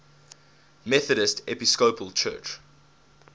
methodist episcopal church